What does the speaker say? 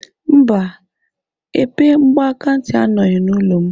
Mba, epe mgbakantị anọghị n'ụlọ m